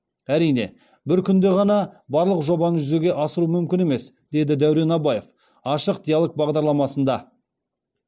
әрине бір күнде ғана барлық жобаны жүзеге асыру мүмкін емес деді дәурен абаев ашық диалог бағдарламасында